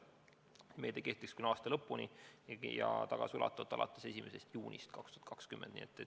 Meede kehtis küll aasta lõpuni, aga kehtib ka tagasiulatuvalt alates 1. juunist 2020.